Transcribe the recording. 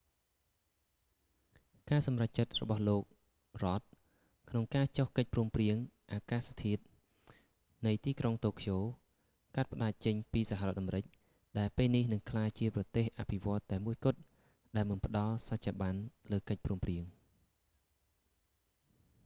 ការសម្រេចចិត្តរបស់លោក rudd រ៉ដ ក្នុងការចុះកិច្ចព្រមព្រៀងអាកាសធាតុនៃទីក្រុងតូក្យូ កាត់ផ្តាច់ចេញពីសហរដ្ឋអាមេរិក ដែលពេលនេះនឹងក្លាយជាប្រទេសអភិវឌ្ឍន៍តែមួយគត់ ដែលមិនផ្តល់សច្ចាប័នលើកិច្ចព្រមព្រៀង